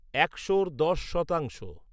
একশর দশ শতাংশ